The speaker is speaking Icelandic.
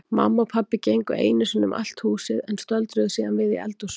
Mamma og pabbi gengu einu sinni um allt húsið en stöldruðu síðan við í eldhúsinu.